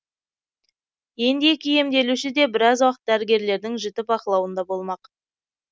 енді екі емделуші де біраз уақыт дәрігерлердің жіті бақылауында болмақ